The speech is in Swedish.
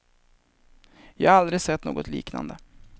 Jag har aldrig sett något liknande.